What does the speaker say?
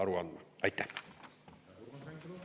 Rahandusminister peab selle kohta aru andma.